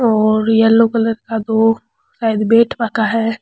और yellow colour का दो शायद वेट है।